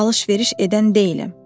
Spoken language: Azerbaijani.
Alış-veriş edən deyiləm.